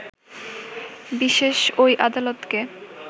বিশেষ ওই আদালতকে